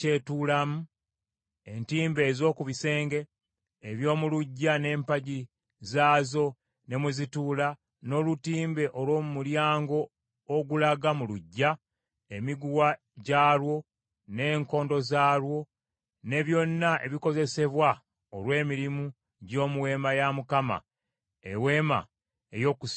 entimbe ez’oku bisenge, eby’omu luggya n’empagi zaazo ne mwe zituula, n’olutimbe olw’omu mulyango ogulaga mu luggya, emiguwa gyalwo n’enkondo zaalwo; ne byonna ebikozesebwa olw’emirimu gy’omu Weema ya Mukama , Eweema ey’Okukuŋŋaanirangamu;